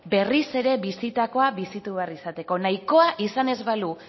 berriz ere bisitakoa bizitu behar izateko nahikoa izan ez balu